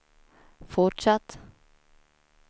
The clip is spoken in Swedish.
fortsatt